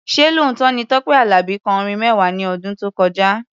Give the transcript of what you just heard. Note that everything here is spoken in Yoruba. Ṣé lóòótọ́ ni pé Tọ́pẹ́ Àlàbí kọ orin mẹ́wàá ní ọdún tó kọjá?